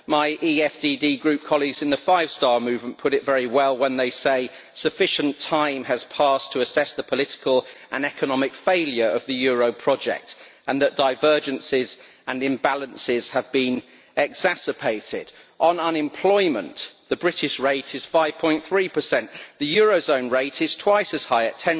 My EFDD Group colleagues in the Five Star Movement put it very well when they say sufficient time has passed to assess the political and economic failure of the euro project, and that divergences and imbalances have been exacerbated. On unemployment, the British rate is 5.3. The eurozone rate is twice as high,